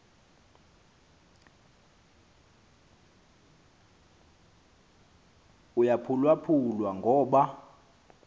uyaphulwaphu lwa ngoba